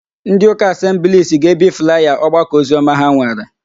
Ndịụka Asembliisi ga-ebi flaya ọgbakọoziọma ha nwere.